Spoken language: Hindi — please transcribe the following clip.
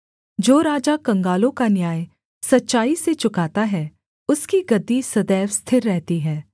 जो राजा कंगालों का न्याय सच्चाई से चुकाता है उसकी गद्दी सदैव स्थिर रहती है